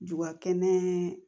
Duba kɛnɛ